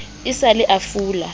e sa le a fula